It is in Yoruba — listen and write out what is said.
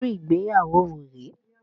Irú ìgbéyàwó wo rè é?